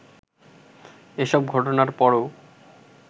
এসব ঘটনার পরও